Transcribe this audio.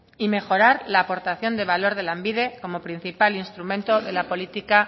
y mejorar la aportación de valor de lanbide como principal instrumento de apolítica